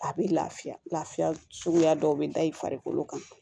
A bɛ lafiya lafiya suguya dɔw bɛ da i farikolo kan